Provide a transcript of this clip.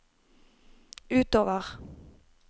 utover